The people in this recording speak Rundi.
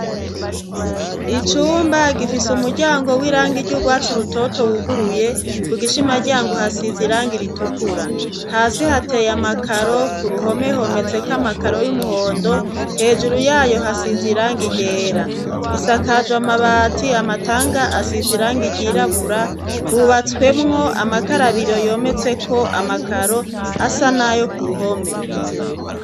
icumba gifise umuryango w'irange iry'urwatsi rutoto wuguruye, ku gishima ryango hasize irangi ritukura. Hasi hateye amakaro ku ruhome hometseko amakaro y'umuhondo, hejuru yayo hasize irangi ryera, isakajwe amabat,i amatanga asize irangi ryirabura hubatswemwo amakarabiro yometseko amakaro asa nayo ku ruhome.